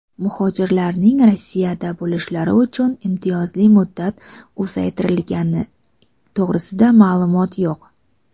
muhojirlarning Rossiyada bo‘lishlari uchun imtiyozli muddat uzaytirilgani to‘g‘risida ma’lumot yo‘q.